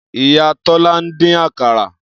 Iya Tola n din akara.